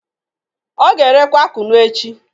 O ga-erekwa kunu echi